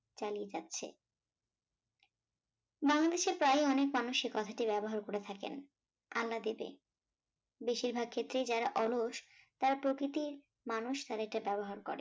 চালিয়ে যাচ্ছে। বাংলাদেশ এর প্রায় অনেক মানুষ এই কথাটি ব্যবহার করে থাকেন, আল্লাদিতে, বেশির ভাগ ক্ষেত্রেই যারা অলস তারা প্রকৃতির মানুষ তাদেরকে ব্যবহার করে